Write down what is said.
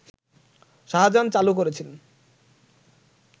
শাহজাহান চালু করেছিলেন